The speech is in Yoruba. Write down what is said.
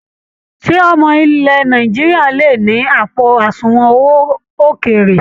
Ṣé ọmọ ilẹ̀ Nàìjíríà lè ni àpò àsùnwọ̀n owó ókéré?